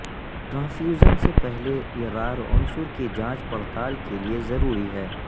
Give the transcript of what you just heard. transfusion سے پہلے یہ را ر عنصر کی جانچ پڑتال کے لئے ضروری ہے